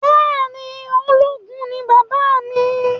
Bẹẹni ológun ni bàbá mi